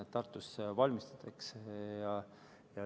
Tartus seda valmistatakse.